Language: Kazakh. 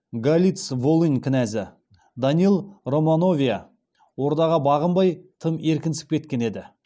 галиц волынь кінәзі даниил романовия ордаға бағынбай тым еркінсіп кеткен еді